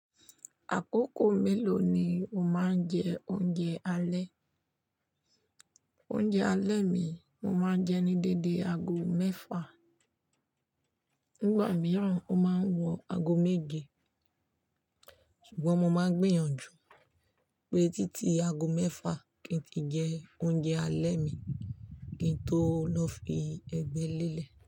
Àkókò mélòó ni o máa ń jẹ oúnjẹ alẹ́? Oúnjẹ alẹ́ mi, mo máa ń jẹ ní dédé ago mẹ́fà. Nígbà mìíràn, ó máa ń wọ ago méje. Ṣùgbọ́n mo máa ń gbìyànjú pé títí ago mẹ́fà kí n tí jẹ oúnjẹ alẹ́ mi, kí n tó lọ fi ẹgbẹ́ lélẹ̀